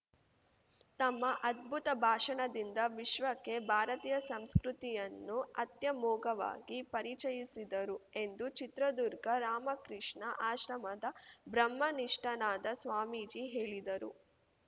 ತಮ್ಮ ಅದ್ಭುತ ಭಾಷಣದಿಂದ ವಿಶ್ವಕ್ಕೆ ಭಾರತೀಯ ಸಂಸ್ಕೃತಿಯನ್ನು ಅತ್ಯಮೋಘವಾಗಿ ಪರಿಚಯಸಿದರು ಎಂದು ಚಿತ್ರದುರ್ಗ ರಾಮಕೃಷ್ಣ ಆಶ್ರಮದ ಬ್ರಹ್ಮನಿಷ್ಠಾನಾದ ಸ್ವಾಮೀಜಿ ಹೇಳಿದರು